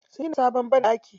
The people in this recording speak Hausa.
Sun gina sabon banɗaki.